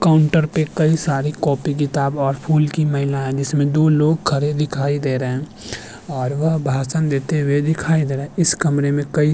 Counter पे कई सारी कॉपी किताब और फूल की माइलाए जिसमें दो लोग खड़े दिखाई दे रहे हैं और वह भाषण देते हुए दिखाई दे रहे हैं। इस कमरे में कई --